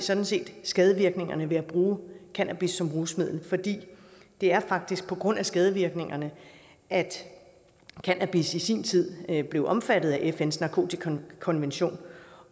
sådan set skadevirkningerne ved at bruge cannabis som rusmiddel det er faktisk på grund af skadevirkningerne at cannabis i sin tid blev omfattet af fns narkotikakonvention